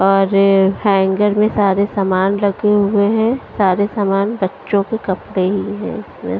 और हैंगर में सारे सामान लगे हुए हैं सारे सामान बच्चों के कपड़े ही है।